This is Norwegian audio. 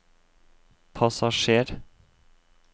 passasjer